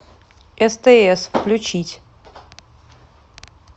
стс включить